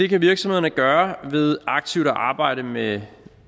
kan virksomhederne gøre ved aktivt at arbejde med